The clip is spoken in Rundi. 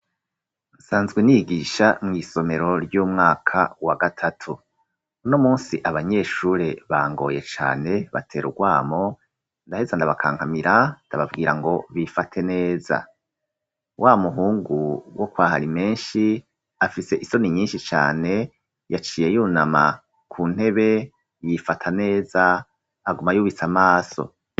Nsanzwe nigisha mw'isomero ry'umwaka wa gatatu, uno munsi abanyeshure bangoye cane batera urwamo ndaheze ndabakankamira ndababwira ngo bifate neza wamuhungu wo kwahari menshi afise isoni nyinshi cane yaciye yunama ku ntebe yifata neza aguma yubise amaso.